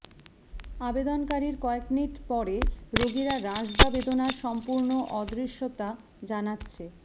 আবেদনকারীর কয়েক মিনিট পরে রোগীরা হ্রাস বা বেদনার সম্পূর্ণ অদৃশ্যতা জানাচ্ছে